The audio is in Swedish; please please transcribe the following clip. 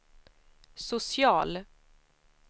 social